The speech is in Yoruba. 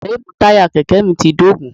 Ríìmù táyà Kẹ̀kẹ́ mi ti dógùn.